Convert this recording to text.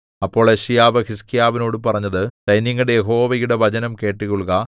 അപ്പോൾ യെശയ്യാവ് ഹിസ്കീയാവിനോടു പറഞ്ഞത് സൈന്യങ്ങളുടെ യഹോവയുടെ വചനം കേട്ടുകൊള്ളുക